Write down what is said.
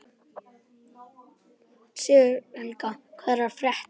Sigurhelga, hvað er að frétta?